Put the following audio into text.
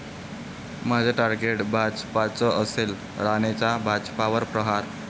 माझं टार्गेट भाजपच असेल, राणेंचा भाजपवर प्रहार